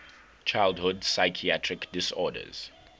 childhood psychiatric disorders